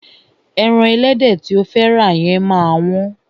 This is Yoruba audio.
Ẹran ẹlẹ́dẹ̀ tí o fẹ́ rà yẹn máa wọ́n.